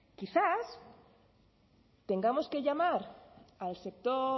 quizás tengamos que llamar al sector